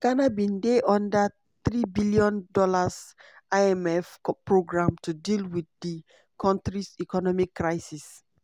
ghana bin dey under $3bn imf programme to deal with di kontris economic crisis.